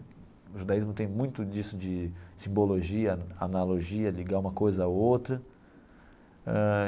O judaísmo tem muito disso de simbologia, analogia, ligar uma coisa a outra ãh.